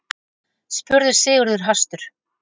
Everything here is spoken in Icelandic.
spurði Sigurður hastur.